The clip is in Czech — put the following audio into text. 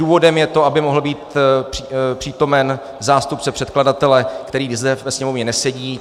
Důvodem je to, aby mohl být přítomen zástupce předkladatele, který zde ve Sněmovně nesedí.